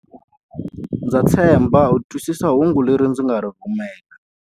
Ndza tshemba u twisisa hungu leri hi nga ri rhumela.